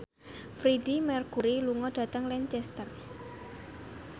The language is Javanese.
Freedie Mercury lunga dhateng Lancaster